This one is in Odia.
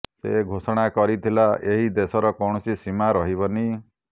ସେ ଘୋଷଣା କରିଥିଲା ଏହି ଦେଶର କୌଣସି ସୀମା ରହିବନି